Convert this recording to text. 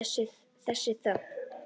Þessa þögn.